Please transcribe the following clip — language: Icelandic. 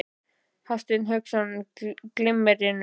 Hafsteinn Hauksson: Glimmerinu?